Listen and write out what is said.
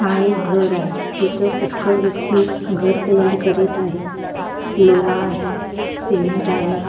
हा एक घर आहे तिथं पुष्कळ व्यक्ती घर तयार करीत आहेत लोवा आहे सिमेंट आहे .